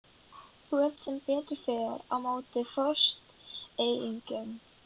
Þú ert sem betur fer á móti fóstureyðingum.